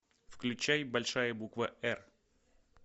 включай большая буква р